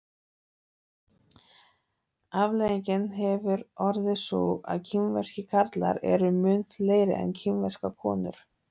afleiðingin hefur orðið sú að kínverskir karlar eru mun fleiri en kínverskar konur